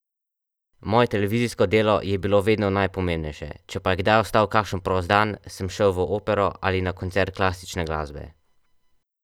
Moje televizijsko delo je bilo vedno najpomembnejše, če pa je kdaj ostal kakšen prost dan, sem šel v opero ali na koncert klasične glasbe.